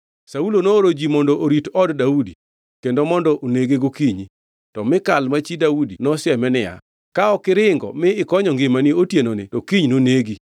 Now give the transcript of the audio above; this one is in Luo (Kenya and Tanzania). Saulo nooro ji mondo orit od Daudi kendo mondo onege gokinyi. To Mikal ma chi Daudi nosieme niya, “Ka ok iringo mi ikonyo ngimani otienoni to kiny nonegi.”